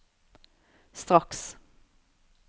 straks